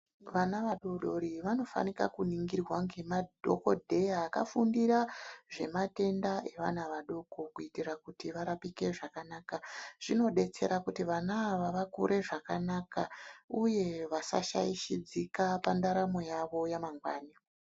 Vana vadoodori vanofanira kuningirwa ngemadhokodheya akafundira zvevana vadoko kuitira kuti varapike zvakanaka, zvinodetsera kuti vana ava vakure zvakanaka uye vasashaishidzika pantaramo yavo yamangwani.